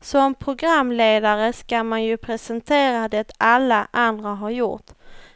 Som programledare ska man ju presentera det alla andra har gjort,